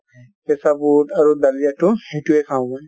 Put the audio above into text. কেঁচা বুট আৰু দলিয়া টো সেইটোয়ে খাঁও মই |